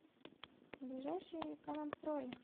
ближайший экономстрой